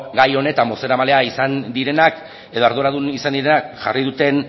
gai honetan bozeramaileak izan direnak edo arduradun izan direnak jarri duten